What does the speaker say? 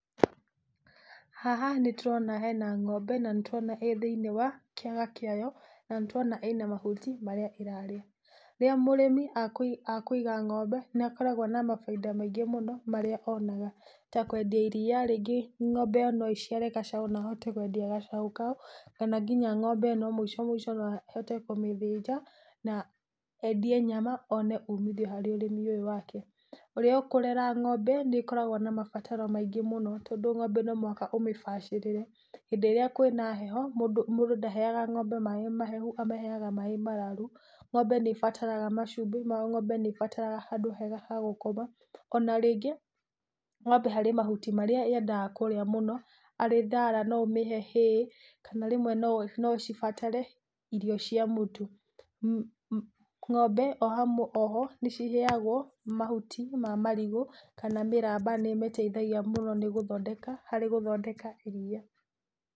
Haha nĩ tũrona he na ng'ombe, na nĩ tũrona ĩrĩ thĩini wa kĩaga kĩayo, na nĩ tũrona ĩrĩ na mahuti marĩa ĩrarĩa. Rĩrĩa mũrĩmĩ akũiga ng'ombe nĩ akoragwo na ũmithio mũingi mũno ũrĩa onaga. Ta kwendia iria, rĩngĩ ng'ombe ĩyo no iciare gacau na ahote kwendia gacaũ kau, kana nginya mũico mũico no endie ng'ombe ĩno na ahote kũmĩthĩnja, na endie nyama one ũmithio harĩ ũrĩmi ũyũ wake. Ũrĩa ũkũrera ng'ombe nĩkoragwo na mabataro maingĩ mũno, tondũ ng'ombe no mũhaka ũmĩbacĩrĩre. Hĩndĩ ĩrĩa kwĩ na heho, mũndũ ndaheaga mũndũ ndaheaga ng'ombe maĩ mahehu, amĩheaga maĩ mararu. Ng'ombe nĩ ĩbataraga cũmbi, ng'ombe nĩ ĩbataraga handũ hega ha gũkoma. Ona rĩngĩ ng'ombe harĩ mahuti marĩa yendaga kũrĩa mũno, harĩ thara no ũmĩhe hay, kana rĩmwe no cibatare irio cia mũtu. Ng'ombe oho nĩ ciheagwo, mahuti ma marigũ kana mĩramba nĩ ĩmĩteithagia mũno, harĩ gũthondeka iria.